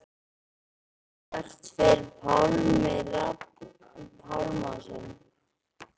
Hvert fer Pálmi Rafn Pálmason?